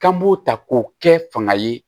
K'an b'o ta k'o kɛ fanga ye